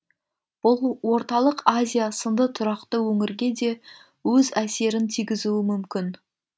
бұл орталық азия сынды тұрақты өңірге де өз әсерін тигізуі мүмкін